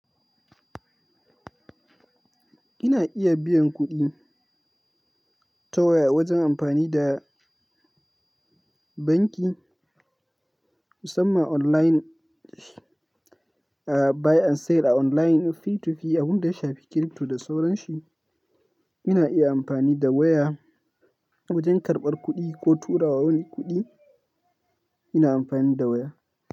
Ina iya biyan kuɗi ta waya wajen amfani da banki musamman kan layi, saya da sayarwa ta yanar gizo tsakanin mutumda mutum a wurin da ya shafi crypto da sauran shi. Ina iya amfani da waya wajen karɓar kuɗi ko tura wani kuɗi ina amfani da waya.